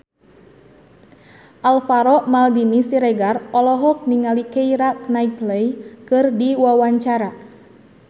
Alvaro Maldini Siregar olohok ningali Keira Knightley keur diwawancara